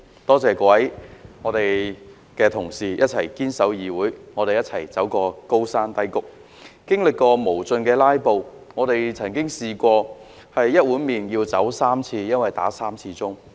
多謝各位同事一起堅守議會，我們一同走過高山低谷，經歷過無盡的"拉布"，曾試過吃一碗麵要3次走開，因為響了3次傳召鐘。